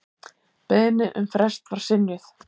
Beiðni um frest var synjað.